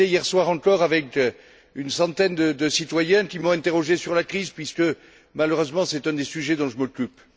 J'étais hier soir encore avec une centaine de citoyens qui m'ont interrogé sur la crise, puisque malheureusement c'est un des sujets dont je m'occupe.